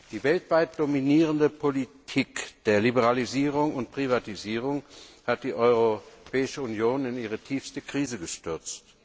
Die weltweit dominierende Politik der Liberalisierung und Privatisierung hat die Europäische Union in ihre tiefste Krise gestürzt.